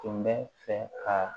Tun bɛ fɛ ka